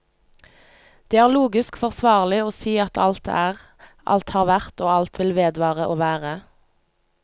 Det er logisk forsvarlig å si at alt er, alt har vært og alt vil vedvare å være.